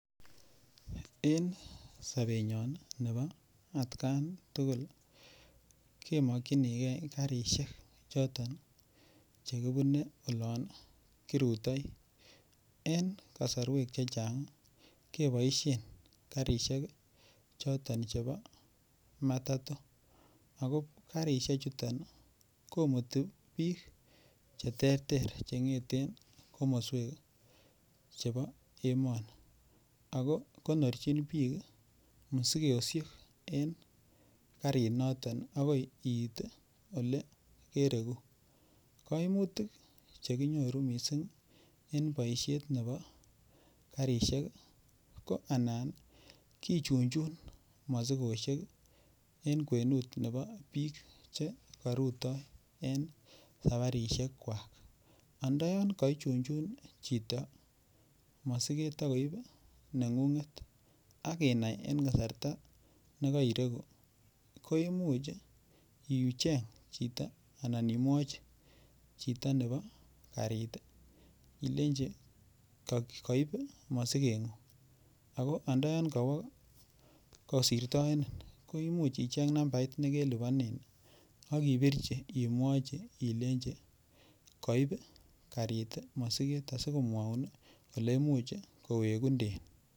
Eng sobenyon nebo atkan tugul kemokchinigei karishek choton chekibune olon kirutoi en kosorwek che chang keboishen karishek choton chebo matatu ako karishek choton koimutik biik che ter ter chengeten komoswek chebo emoni ako konorchin biik musikoishek en karinoton akoi iit ole kereku kaimutik chekinyoru mising eng boishet nebo karishek ko anan kichunchun mosikoshek eng kwenut nebo biik chekarutoi en safarishek kwak andoyon kaichunchun chito masiket akoip neng'ung'et akinai eng kasarta nekairegu ko imuch icheny chito anan imwochin chito nebo karit ilenji kaib mosikenyu ako andayan kawo kosirtoenen koimuch icheny nambait nekelipanen akipirchi imwochin ilenji koip karit mosiket asikomwoun oleimuch kowekunden.